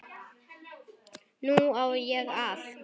Nú á ég allt.